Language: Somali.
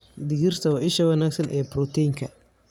Digirta waa isha wanaagsan ee borotiinka.